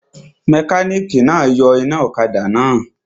Mẹkánìkì náà yọ iná ọ̀kadà náà